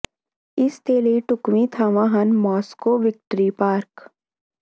ਇਸ ਦੇ ਲਈ ਢੁਕਵੀਂ ਥਾਵਾਂ ਹਨ ਮਾਸਕੋ ਵਿਕਟਰੀ ਪਾਰਕ